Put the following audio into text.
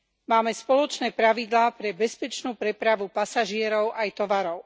Máme spoločné pravidlá pre bezpečnú prepravu pasažierov aj tovarov.